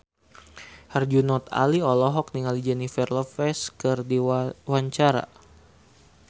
Herjunot Ali olohok ningali Jennifer Lopez keur diwawancara